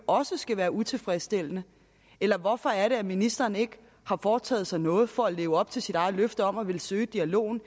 også skal være utilfredsstillende eller hvorfor er det at ministeren ikke har foretaget sig noget for at leve op til sit eget løfte om at ville søge dialogen